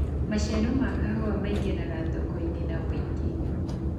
maciaro ma kahũa maĩngagira thoko-inĩ na wũingi